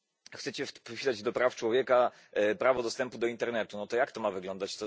Chcecie wpisać do praw człowieka prawo dostępu do internetu no to jak to ma wyglądać?